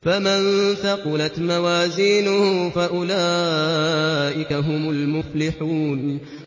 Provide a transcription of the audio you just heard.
فَمَن ثَقُلَتْ مَوَازِينُهُ فَأُولَٰئِكَ هُمُ الْمُفْلِحُونَ